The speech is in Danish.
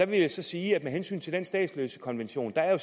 vil sige at med hensyn til statsløsekonventionen er